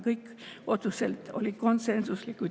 Kõik otsused olid konsensuslikud.